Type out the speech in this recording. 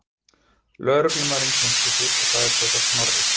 Lögreglumaðurinn kynnti sig og sagðist heita Snorri.